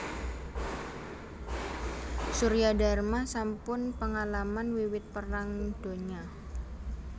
Suryadarma sampun pengalaman wiwit Perang Donya